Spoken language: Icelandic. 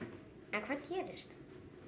en hvað gerist